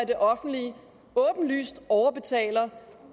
det offentlige åbenlyst overbetaler